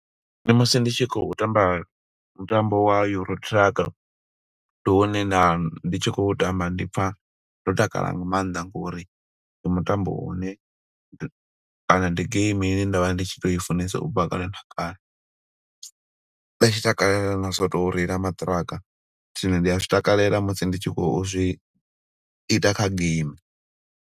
Ndi musi ndi tshi khou tamba mutambo wa Euro Truck, ndi hune nda ndi tshi khou tamba ndi pfa ndo takala nga maanḓa, ngo uri ndi mutambo u ne. Kana ndi game ine nda vha ndi tshi to i funesa u bva kale na kale. Nda tshi takalela na zwo to reila maṱiraka, zwino ndi a zwi takalela musi ndi tshi khou zwi ita kha game.